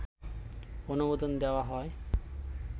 অনুমোদন দেয়া হয়